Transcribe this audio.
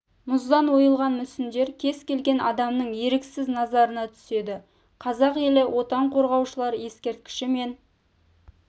мұздан ойылған мүсіндер кез келген адамның еріксіз назарына түседі қазақ елі отан қорғаушылар ескерткіші мен